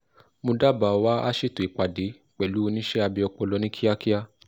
mo dábàáwà á ṣètò ìpàdé pẹ̀lú oníṣẹ́ abẹ ọpọlọ ní kíákíá